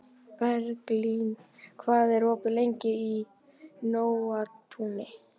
Berglín, hvað er opið lengi í Nóatúni?